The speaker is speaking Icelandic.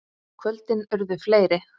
Kvöldin urðu fleiri.